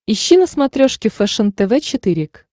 ищи на смотрешке фэшен тв четыре к